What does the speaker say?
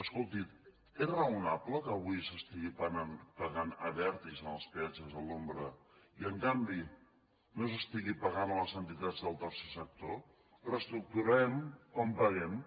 escolti és raonable que avui es pagui a abertis en els peatges a l’ombra i en canvi no es pagui a les entitats del tercer sector reestructurem com paguem